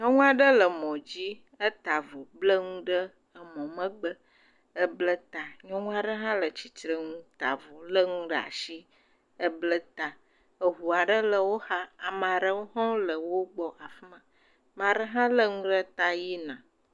Nyɔŋua ɖe le mɔ dzi, eta avɔ, ble ŋu ɖe emɔ megbe, eble ta, nyɔŋua ɖe hã le tsitre ŋu, ta avɔ, ble ŋu ɖe ashi, eble ta, eʋua ɖe le wo xa, amaɖewo hã wole wo gbɔ afima, maɖe hã lé ŋu ɖe ta yi na.